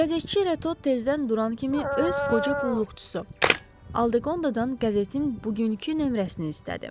Qəzetçi Reto tezdən duran kimi öz qoca qulluqçusu Aldeqondadan qəzetin bugünkü nömrəsini istədi.